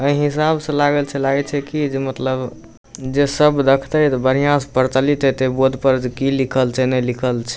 ए हिसाब से लागल छै लागे छै की जे एकदम मतलब जे सब देखते बढ़िया से प्रचलित हेते बोर्ड पर की लिखल छै ने लिखल छै ।